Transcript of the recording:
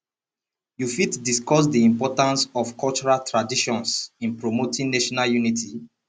you fit discuss di importance of cultural traditions in promoting national unity